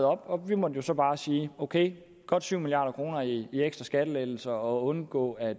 op og vi måtte jo så bare sige ok godt tyve milliard kroner i ekstra skattelettelser og undgå at